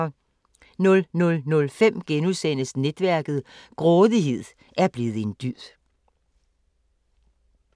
00:05: Netværket: Grådighed er blevet en dyd *